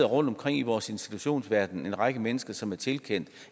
rundtomkring i vores institutionsverden en række mennesker som er tilkendt